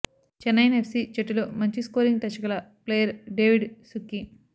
Chennaiyin F C జట్టులో మంచి scoring touch గల ప్లేయర్ డేవిడ్ సుక్కీ